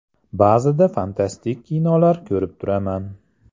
Ba’zida fantastik kinolar ko‘rib turman.